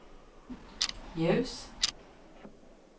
ljus